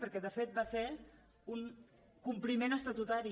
perquè de fet va ser un compliment estatutari